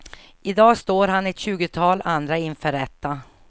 I dag står han och ett tjugotal andra inför rätta.